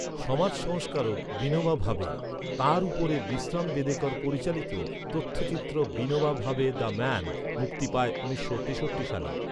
সমাজ সংস্কারক বিনোবা ভাবে। তাঁর উপরে বিশ্রাম বেদেকর পরিচালিত তথ্যচিত্র ‘বিনোবা ভাবে, দ্য ম্যান’ মুক্তি পায় উনিশশো তেষট্টি সালে।